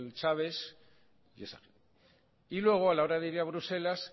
chávez y luego a la hora de ir a bruselas